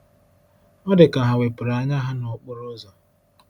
Ọ dị ka ha wepụrụ anya ha n’okporo ụzọ.